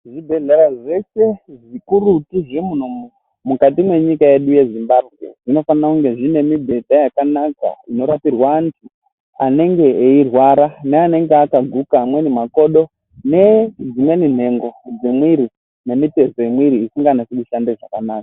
Zvibhedhlera zveshe zvemuno mukati mwenyika yedu yeZimbabwe zvinofanire kunge zvine mibhedha yakanaka inorapirwe antu anenge eirwara neanenge akaguka amweni makodo nedzimweni nhengo dzemwiri nemitezo yemwiri isinganasi kushanda zvakanaka.